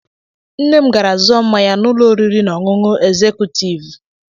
Nne m gara zụọ mmanya na ụlọ oriri na ọṅụṅụ egzekutiivu.